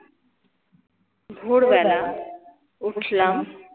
ভোরবেলা উঠলাম